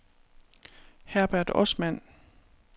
Herbert Osman